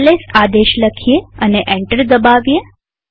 LS આદેશ લખીએ અને એન્ટર દબાવીએ